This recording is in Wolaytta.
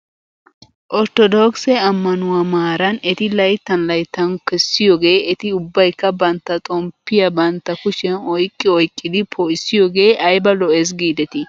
Orttodookise ammanuwaa maaran eti layttan layttan kessiyoogee eti ubbaykka bantta xomppiyaa bantta kushiyan oyqqi oyqqidi poo'issiyoogee ayba lo'es giidetii ?